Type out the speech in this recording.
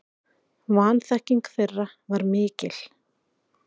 Vanþekking þeirra var mikil.